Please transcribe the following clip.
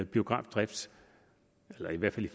biografdrift eller i hvert fald i